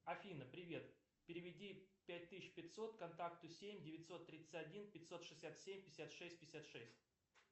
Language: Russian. афина привет переведи пять тысяч пятьсот контакту семь девятьсот тридцать один пятьсот шестьдесят семь пятьдесят шесть пятьдесят шесть